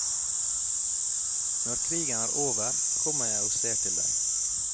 Når krigen er over, kommer jeg og ser til deg.